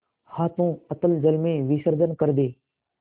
हाथों अतल जल में विसर्जन कर दे